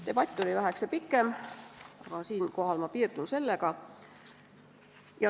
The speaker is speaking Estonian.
Debatt oli väheke pikem, aga siinkohal ma piirdun sellega.